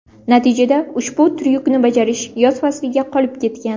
Natijada ushbu tryukni bajarish yoz fasliga qolib ketgan.